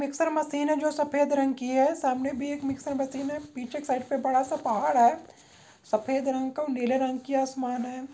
Mixer machine है जो सफ़ेद रंग की है सामने भी एक मिक्सर मशीन है पीछे की साइड पे बड़ा सा पहाड़ है सफ़ेद रंग का और नीले रंग की आसमान है।